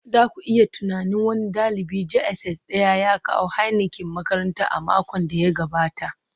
za ku iya tunanin, wani dalibin JSS Daya ya kawo Heineken makaranta a makon da ya gabata